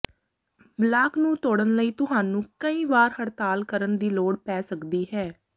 block ਨੂੰ ਤੋੜਨ ਲਈ ਤੁਹਾਨੂੰ ਕਈ ਵਾਰ ਹੜਤਾਲ ਕਰਨ ਦੀ ਲੋੜ ਪੈ ਸਕਦੀ ਹੈ